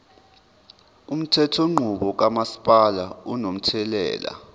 umthethonqubo kamasipala unomthelela